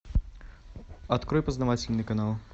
открой познавательный канал